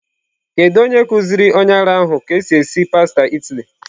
Kedu onye kuziri onye ara ahụ ka esi esi pasta Italy?